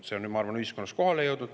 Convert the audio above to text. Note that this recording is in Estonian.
See on, ma arvan, ühiskonnas kohale jõudnud.